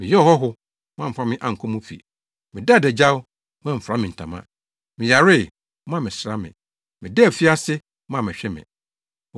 Meyɛɛ ɔhɔho, moamfa me ankɔ mo fi. Medaa adagyaw, moamfura me ntama. Meyaree, moammɛsra me. Medaa afiase, moammɛhwɛ me.’